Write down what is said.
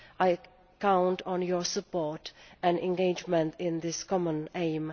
I count on your support and engagement in this common aim.